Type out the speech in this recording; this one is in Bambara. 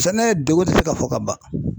Sɛnɛ degun tɛ se ka fɔ ka ban